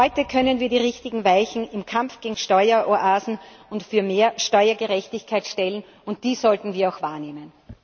Heute können wir die richtigen Weichen im Kampf gegen Steueroasen und für mehr Steuergerechtigkeit stellen, und dies sollten wir auch wahrnehmen.